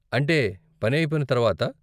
అంటే, పని అయిపోయిన తర్వాత.